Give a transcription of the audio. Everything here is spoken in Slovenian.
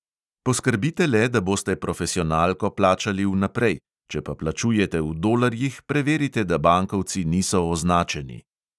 Poskrbite le, da boste profesionalko plačali vnaprej, če pa plačujete v dolarjih, preverite, da bankovci niso označeni.